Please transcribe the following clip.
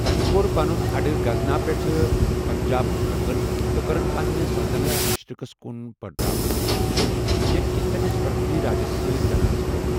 تمہِ کوٚر پنُن اڈٕ غزنا پیٹھ پنجاب مٗنتقل، تہٕ کٔرٕن پنٕنہِ سلطنت مشرقس کُن بٕڑراونٕچ کوُشش، ییٚمہِ كِنہِ تٔمِس پرتھوی راجس سۭتۍ تناضہٕ گو٘و ۔